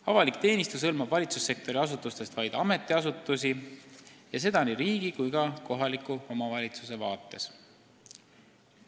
Avalik teenistus hõlmab valitsussektori asutustest vaid ametiasutusi ja seda nii terve riigi kui ka kohaliku omavalitsuse vaates.